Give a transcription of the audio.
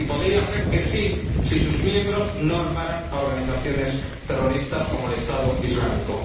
y podría ser que sí, si sus miembros no armaran a organizaciones terroristas como el Estado Islámico.